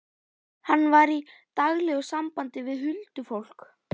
Hann var í daglegu sambandi við huldufólk.